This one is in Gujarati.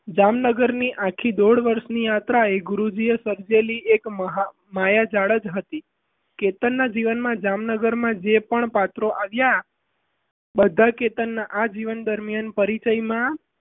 જામનગરની આજથી દોઢ વર્ષની યાત્રાએ ગુરુજીએ સર્જેલી માયાજાળ જ હતી કેતનના જીવનમાં જામનગરમાં જે પણ પાત્રો આવ્યા બધા કેતનના પરિચયમાં આજીવન દરમિયાન